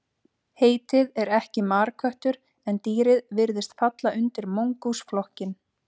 Heitið er ekki marköttur en dýrið virðist falla undir mongús flokkinn.